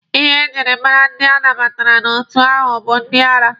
Ihe e jiri mara ndị anabatara n'otu ahụ bụ ndị ara.